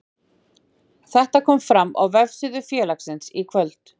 Þetta kom fram á vefsíðu félagsins í kvöld.